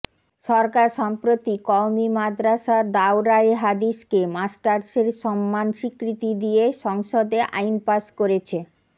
সরকার সম্প্রতি কওমি মাদ্রাসার দাওরায়ে হাদিসকে মাস্টার্সের সমমান স্বীকৃতি দিয়ে সংসদে আইন পাশ করেছে